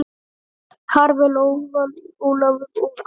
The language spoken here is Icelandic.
Karvel, Ólafur og Andri.